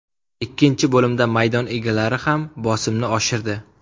Ikkinchi bo‘limda maydon egalari ham bosimni oshirdi.